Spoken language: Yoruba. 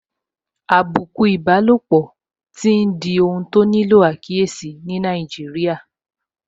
Àbùkù ìbálòpọ̀ tí n di ohun tó nílò àkíyèsí ní Nàìjíríà